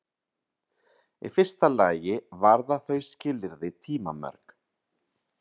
Í fyrsta lagi varða þau skilyrði tímamörk.